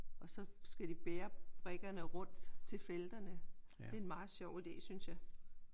Og så skal de bære brikkerne rundt til felterne. Det er en meget sjov idé synes jeg